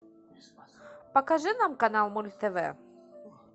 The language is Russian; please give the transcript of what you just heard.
покажи нам канал мульт тв